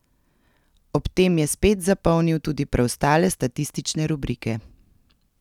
Ob tem je spet zapolnil tudi preostale statistične rubrike.